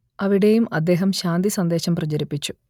അവിടെയും അദ്ദേഹം ശാന്തി സന്ദേശം പ്രചരിപ്പിച്ചു